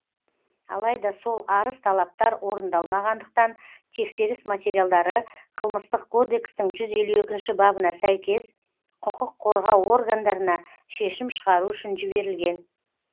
алайда сол арыз талаптар орындалмағандықтан тексеріс материалдары қылмыстық кодекстің жүз елу екіші бабына сәйкес құқық қорғау органдарына шешім шығару үшін жіберілген